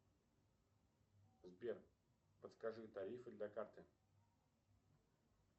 сбер подскажи тарифы для карты